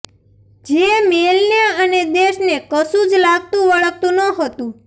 જે મેઈલને અને દેશને કશું જ લાગતું વળગતું નહોતું